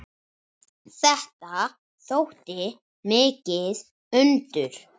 Þetta þótti mikið undur.